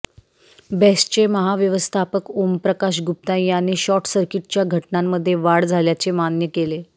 बेस्टचे महाव्यवस्थापक ओमप्रकाश गुप्ता यांनी शॉर्टसर्किटच्या घटनांमध्ये वाढ झाल्याचे मान्य केले